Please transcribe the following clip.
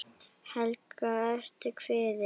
Helga: Ertu kvíðinn?